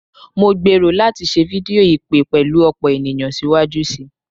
Mo gbero lati se fidio ipe pelu opo eniyan siwaju sii